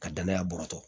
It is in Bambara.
Ka danaya bɔrɔ